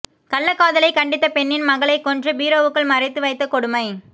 கள்ளக்காதலை கண்டித்த பெண்ணின் மகனை கொன்று பீரோவுக்குள் மறைத்துவைத்த கொடுமை